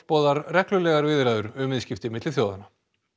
boðar reglulegar viðræður um viðskipti milli þjóðanna